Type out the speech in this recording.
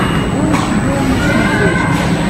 дойч вель на смотрешке